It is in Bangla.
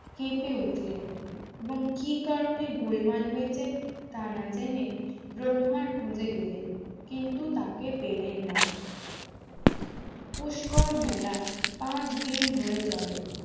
কেঁপে উঠলেন এবং কি কারনে গোলমাল হয়েছে তা না জেনে ব্রহ্মার খোঁজে গেলেন কিন্তু তাকে পেলেন না পুষ্কর মেলা পাঁচ দিন ধরে চলে